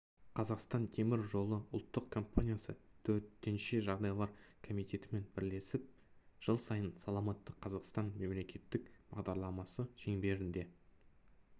қазақстан темір жолы ұлттық компаниясы төтенше жағдайлар комитетімен бірлесіп жыл сайын саламатты қазақстан мемлекеттік бағдарламасы шеңберінде